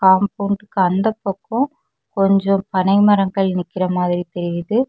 காம்பவுண்ட்க்கு அந்த பக்கம் கொஞ்சம் பனை மரங்கள் நிக்கிற மாதிரி தெரியுது.